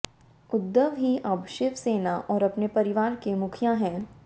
उद्धव ही अब शिव सेना और अपने परिवार के मुखिया हैं